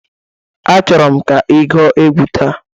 Achọrọ m ka ị gụọ egwu taa!